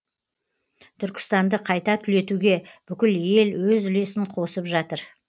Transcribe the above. түркістанды қайта түлетуге бүкіл ел өз үлесін қосып жатыр